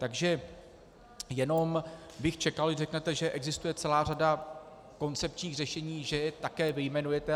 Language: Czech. Takže jenom bych čekal, když řeknete, že existuje celá řada koncepčních řešení, že je také vyjmenujete.